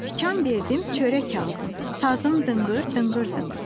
Tikan verdim çörək aldım, sazım dınqır, dınqır dınqır.